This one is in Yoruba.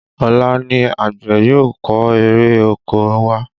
Ọ̀la ni àgbẹ̀ yóò kó ère oko wá